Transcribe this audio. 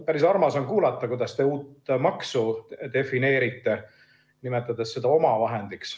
Päris armas on kuulata, kuidas te uut maksu defineerite, nimetades seda omavahendiks.